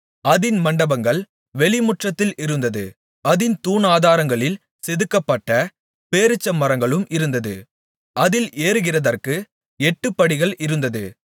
அதின் மண்டபங்கள் வெளிமுற்றத்தில் இருந்தது அதின் தூணாதாரங்களில் செதுக்கப்பட்ட பேரீச்சமரங்களும் இருந்தது அதில் ஏறுகிறதற்கு எட்டுப்படிகள் இருந்தது